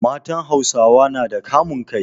Matan Hausawa nada kamun kai